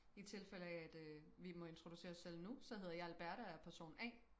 i tilfælde af at øh vi må introducere os selv nu så hedder jeg Alberte og jeg er person a